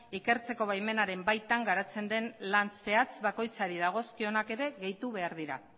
ikertzeko baimenaren baitan garatzen den lan zehatz bakoitzari dagozkionak ere gehitu behar dira